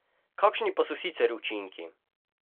Kakšni pa so sicer učinki?